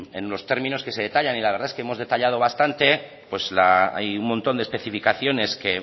en los términos en que se detallan la verdad que hemos detallado bastante hay un montón de especificaciones que